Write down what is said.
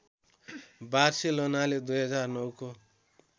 बार्सेलोनाले २००९ को